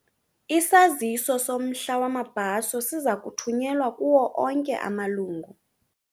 Isaziso somhla wamabhaso siza kuthunyelwa kuwo onke amalungu.